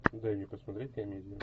дай мне посмотреть комедию